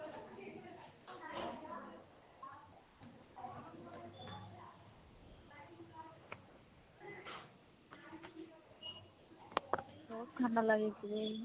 বাহুত ঠাণ্ডা লাগিছে দেই।